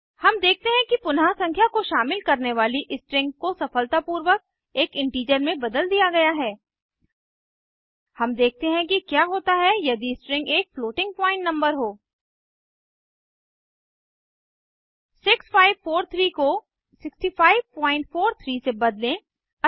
हम देखते हैं कि पुनः संख्या को शामिल करने वाली स्ट्रिंग को सफलतापूर्वक एक इंटीजर में बदल दिया गया है अब देखते हैं कि क्या होता है यदि स्ट्रिंग एक फ्लोटिंग पॉइंट नंबर हों 6543 को 6543से बदलें